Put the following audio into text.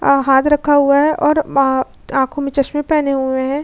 हां हाथ रखा हुआ है और आ आंखों में चश्मे पहने हुए हैं।